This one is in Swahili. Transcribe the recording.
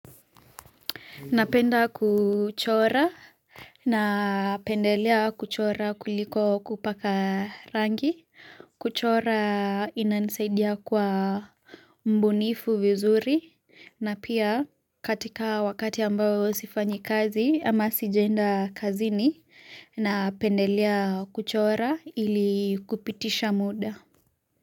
Napenda kuchora napendelea kuchora kuliko kupaka rangi. Kuchora hunisaidia kwa ubunifu vizuri na pia katika wakati ambao sifanyi kazi ama sijaenda kazini napendelea kuchora ili kupitisha muda.